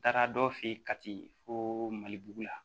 N taara dɔ fɛ yen kati fo mali bugu la